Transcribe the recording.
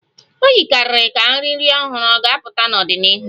O yikarịrị ka nri nri ọhụrụ ga-apụta n'ọdịnihu